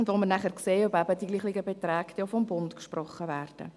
Dann werden wir sehen, ob die gleichen Beträge auch vom Bund gesprochen werden.